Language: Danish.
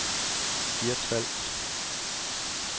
Hirtshals